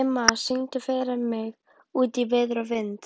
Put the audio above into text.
Dimma, syngdu fyrir mig „Út í veður og vind“.